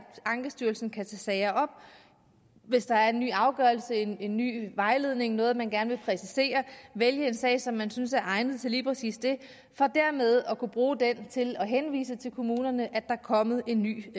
ankestyrelsen kan tage sager op hvis der er en ny afgørelse en en ny vejledning noget man gerne vil præcisere og vælge en sag som man synes er egnet til lige præcis det for dermed at kunne bruge den til at vise kommunerne at der er kommet en ny